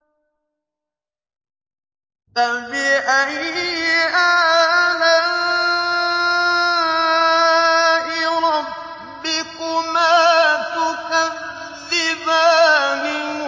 فَبِأَيِّ آلَاءِ رَبِّكُمَا تُكَذِّبَانِ